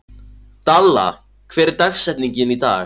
Dalla, hver er dagsetningin í dag?